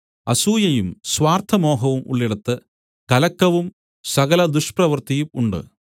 അസൂയയും സ്വാർത്ഥമോഹവും ഉള്ളിടത്ത് കലക്കവും സകല ദുഷ്പ്രവൃത്തിയും ഉണ്ട്